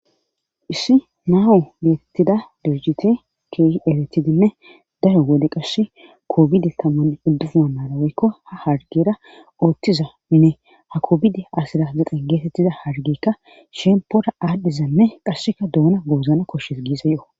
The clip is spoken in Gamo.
Issi naawu geetettida durjite kehieretidinne daro gode qashe koobidi tamanne uddufu manara woykko ha hargera ooththizanne ha koobidi asira zeqen geetettiza hargeykka shempora aadhdhizanne qassheka duuna goozana koshshes giisa yo'o